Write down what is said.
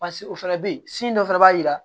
o fana bɛ ye dɔ fana b'a jira